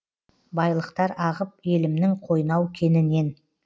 байлықтар ағып елімнің қойнау кенінен